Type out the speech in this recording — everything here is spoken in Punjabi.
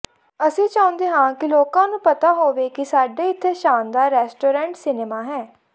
ਅਸੀਂ ਚਾਹੁੰਦੇ ਹਾਂ ਕਿ ਲੋਕਾਂ ਨੂੰ ਪਤਾ ਹੋਵੇ ਕਿ ਸਾਡੇ ਇੱਥੇ ਸ਼ਾਨਦਾਰ ਰੈਸਟੋਰੈਂਟ ਸਿਨੇਮਾ ਹੈ